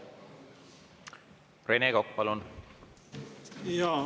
Rene Kokk, palun!